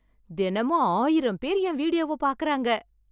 தினமும் ஆயிரம் பேர் என் வீடியோவை பார்க்கறாங்க